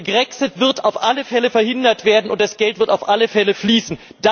Der Grexit wird auf alle Fälle verhindert werden, und das Geld wird auf alle Fälle fließen.